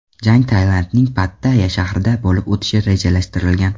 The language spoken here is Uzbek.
Jang Tailandning Pattayya shahrida bo‘lib o‘tishi rejalashtirilgan.